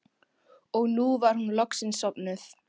Og nú var hún loksins sofnuð.